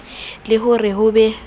le ho re ho be